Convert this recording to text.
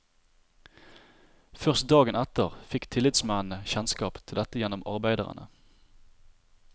Først dagen etter fikk tillitsmennene kjennskap til dette gjennom arbeiderne.